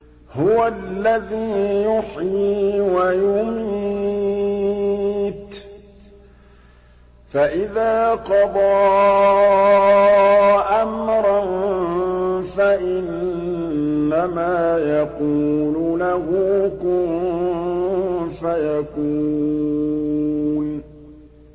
هُوَ الَّذِي يُحْيِي وَيُمِيتُ ۖ فَإِذَا قَضَىٰ أَمْرًا فَإِنَّمَا يَقُولُ لَهُ كُن فَيَكُونُ